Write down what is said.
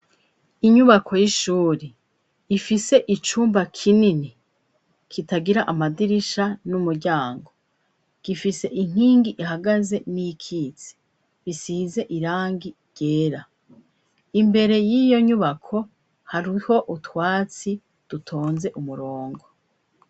Inyubako y'ishuri ifise icumba kinini kitagira amadirisha n'umuryango gifise inkingi ihagaze n'iyikitse bisize irangi ryera imbere y'iyo nyubako hariho utwatsi dutonze umurongo.